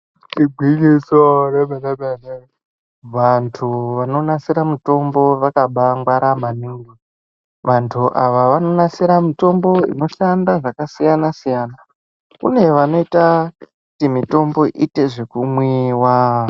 Igwinyiso re mene mene vantu vano nasira mitombo vakabai ngwara maningi vantu ava vano nasira mitombo ino shanda zvaka siyana siyana kune vanoita kuti mitombo iite zveku nwiwa.